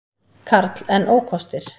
Karl: En ókostir?